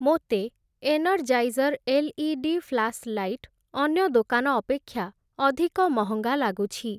ମୋତେ Energizer LED flashlight ଅନ୍ୟ ଦୋକାନ ଅପେକ୍ଷା ଅଧିକ ମହଙ୍ଗା ଲାଗୁଛି ।